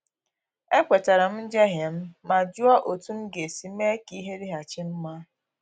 Ekwetara m njehie m ma jụọ otú m ga-esi mee ka ihe dịghachi mma